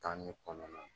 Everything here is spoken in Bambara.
Tan ne kɔnɔ